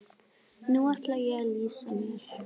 Nú ætla ég að lýsa mér.